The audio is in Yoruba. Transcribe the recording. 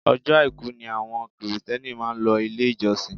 Ọjọ́ àìkú ni àwọn kìrìtíẹ́nì máa ń lọ ilé ìjọsìn